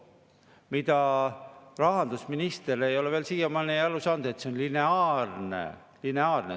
Mida rahandusminister ei ole veel siiamaani aru saanud, et see on lineaarne.